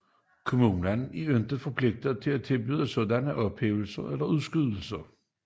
Kommunen er ikke forpligtet til at tilbyde sådanne ophævelser eller udskydelser